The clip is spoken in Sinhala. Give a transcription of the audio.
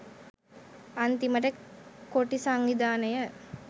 අන්තිමට කොටි සංවිධානය